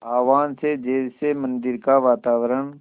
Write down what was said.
आह्वान से जैसे मंदिर का वातावरण